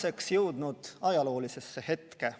Oleme jõudnud ajaloolisesse hetke.